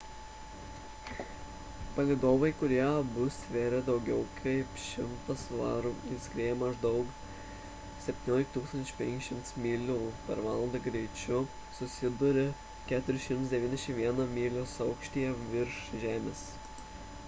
palydovai kurie abu svėrė daugiau kaip 1 000 svarų ir skriejo maždaug 17 500 myl / val greičiu susidūrė 491 mylios aukštyje virš žemės